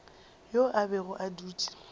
yo a bego a dutše